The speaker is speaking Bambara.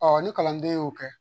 ni kalanden y'o kɛ